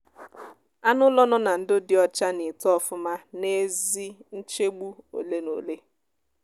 anụ ụlọ nọ na ndo dị ocha na eto ofuma na ezi nchegbu ole na ole